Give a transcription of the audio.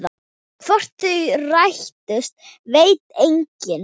Hvort þau rættust veit enginn.